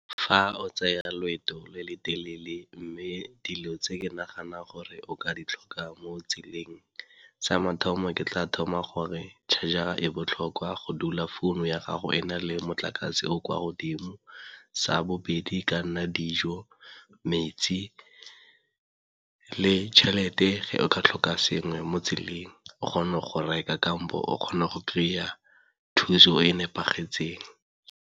Fa o tsaya loeto le le telele mme dilo tse ke nagana gore o ka di tlhoka mo tseleng, sa mathomo ke tla thoma gore charger e botlhokwa go dula founu ya gago e na le motlakase o o kwa godimo. Sa bobedi e ka nna dijo, metsi le tšhelete ge o ka tlhoka sengwe mo tseleng o kgona go reka kampo o kgona go kry-a thuso e nepagetseng.